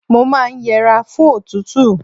Mo máa yẹra fún òtútù.